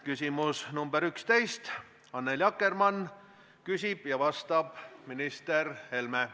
Küsimus nr 11, Annely Akkermann küsib ja vastab minister Helme.